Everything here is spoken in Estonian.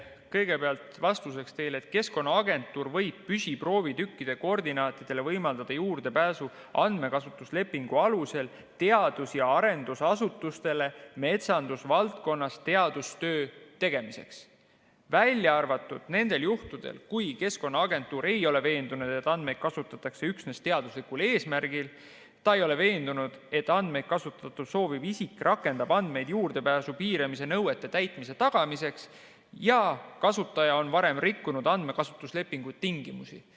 Kõigepealt vastuseks teile, et Keskkonnaagentuur võib püsiproovitükkide koordinaatidele võimaldada juurdepääsu andmekasutuslepingu alusel teadus- ja arendusasutustele metsandusvaldkonnas teadustöö tegemiseks, välja arvatud nendel juhtudel, kui Keskkonnaagentuur ei ole veendunud, et andmeid kasutatakse üksnes teaduslikul eesmärgil, ta ei ole veendunud, et andmeid kasutada sooviv isik rakendab andmeid juurdepääsu piiramise nõuete täitmise tagamiseks, ja kasutaja on varem rikkunud andmekasutuslepingu tingimusi.